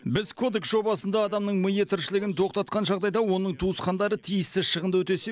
біз кодекс жобасында адамның миы тіршілігін тоқтатқан жағдайда оның туысқандары тиісті шығынды өтесе